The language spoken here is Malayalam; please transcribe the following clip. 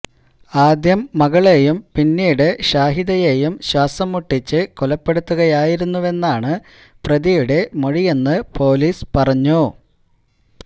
ആദ്യം മകളെയും പിന്നീട് ഷാഹിദയെയും ശ്വാസം മുട്ടിച്ച് കൊലപ്പെടുത്തുകയായിരുന്നുവെന്നാണ് പ്രതിയുടെ മൊഴിയെന്ന് പോലീസ് പറഞ്ഞു